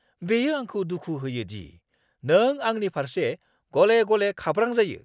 बेयो आंखौ दुखु होयो दि नों आंनि फारसे गले-गले खाब्रां जायो।